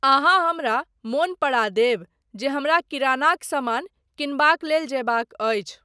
अहाँ हमरा मन पड़ा देब जे हमरा किरानाक समान किनबाक लेल जयबाक अछि।